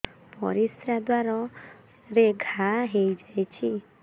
ପରିଶ୍ରା ଦ୍ୱାର ରେ ଘା ହେଇଯାଇଛି